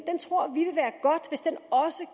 også